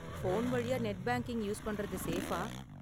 Phone வழியா net banking use பண்றது சேஃபா?